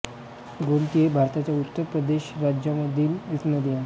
गोमती ही भारताच्या उत्तर प्रदेश राज्यामधील एक नदी आहे